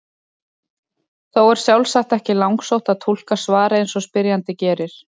Þó er sjálfsagt ekki langsótt að túlka svarið eins og spyrjandi gerir.